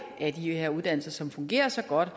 af de her uddannelser som fungerer så godt og